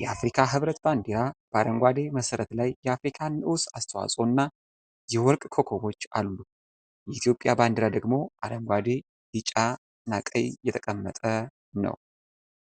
የአፍሪካ ህብረት ባንዲራ በአረንጓዴ መሠረት ላይ የአፍሪካ ንዑስ አስተዋፅኦ እና የወርቅ ኮከቦች አሉ። የኢትዮጵያ ባንዲራ ደግሞ አረንጓዴ፣ ቢጫ፣ ቀይ የተቀመጠ ነው።